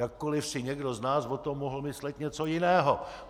Jakkoliv si někdo z nás o tom mohl myslet něco jiného.